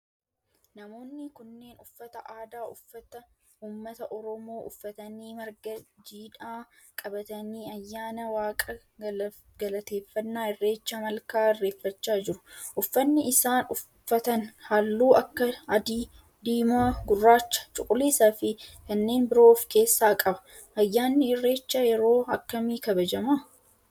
Namooni kunneen uffata aadaa ummata oromoo uffatanii marga jiidhaa qabatanii ayyaana waaqa galateeffanaa irreecha malka irreeffachaa jiru. uffanni isaan uffatan halluu akka adii, diimaa, gurraacha, cuquliisaa fi kanneen biroo of keessaa qaba. ayyaanni irreecha yeroo akkami kabajama?